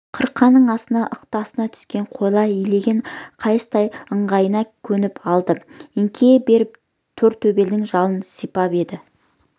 қырқаның астына ықтасынға түскен қойлар илеген қайыстай ыңғайына көніп алды еңкейе беріп тортөбелдің жалын сипап еді